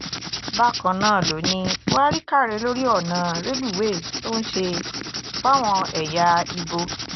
bákan náà ló ní buhari káre lórí ọ̀nà rélùwéè tó ń ṣe fáwọn ẹ̀yà ibo